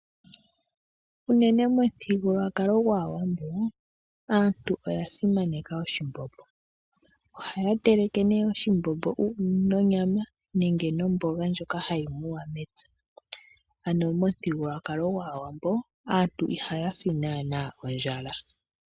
Unene momuthigululwakalo gwAawambo aantu oya simaneka oshimbombo. Ohaya teleke oshimbombo nonyama nenge nomboga ndjoka hayi muwa mepya ano monuthigululwako gwAawambo aantu ihaya si ondjala.